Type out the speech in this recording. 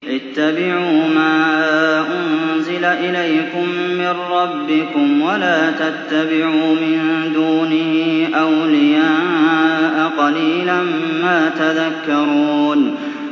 اتَّبِعُوا مَا أُنزِلَ إِلَيْكُم مِّن رَّبِّكُمْ وَلَا تَتَّبِعُوا مِن دُونِهِ أَوْلِيَاءَ ۗ قَلِيلًا مَّا تَذَكَّرُونَ